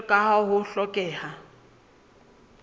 jwalo ka ha ho hlokeha